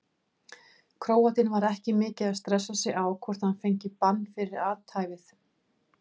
Króatinn var ekki mikið að stressa sig á hvort hann fengi bann fyrir athæfið.